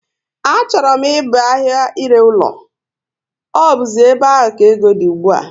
Á chọrọ m ịba ahia ire ụlọ, ọ buzi ébé áhù ka égo dị ùgbúà